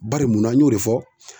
Bari munna an y'o de fɔ